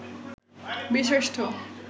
বীরশ্রেষ্ঠ